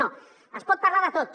no es pot parlar de tot